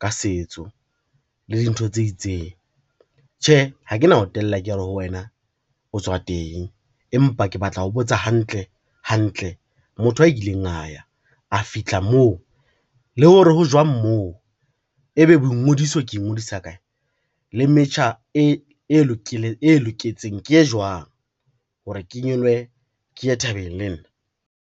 ka setso le dintho tse itseng. Tjhe, ha ke na o tella ke re ho wena o tswa teng, empa ke batla ho botsa hantle hantle motho a ileng a ya, a fitlha moo le hore ho jwang moo, e be boingodiso ke ingodisa kae le metjha e loketseng ke e jwang, hore ke nyolohe ke ye thabeng lenna.